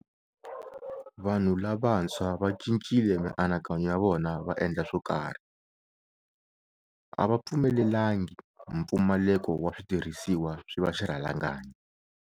Vanhu lavantshwa vacincile mianakanyo ya vona va endla swokarhi. A va pfumelelangi mpfumaleko wa switirhisiwa swi va xirhalanganyi.